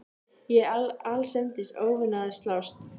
Ég er allsendis óvanur að slást.